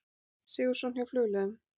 Sigurðsson hjá Flugleiðum.